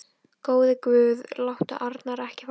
Góði Guð, láttu Arnar ekki fá köst.